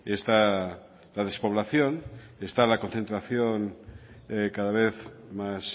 está la despoblación está la concentración cada vez más